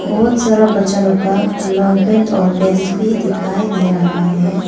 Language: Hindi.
बहोत सारा बच्चा लोग का लॉन्ग पैंट और पैंट भी दिखाई दे रहा है।